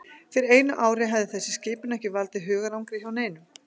Fyrir einu ári hefði þessi skipun ekki valdið hugarangri hjá neinum.